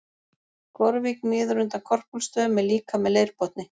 Gorvík niður undan Korpúlfsstöðum er líka með leirbotni.